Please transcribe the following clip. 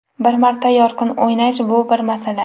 Bir marta yorqin o‘ynash bu bir masala.